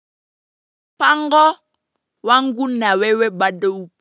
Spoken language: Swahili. Pango, wangu na wewe bado.